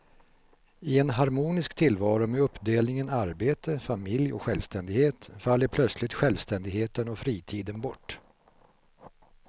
I en harmonisk tillvaro med uppdelningen arbete, familj och självständighet faller plötsligt självständigheten och fritiden bort.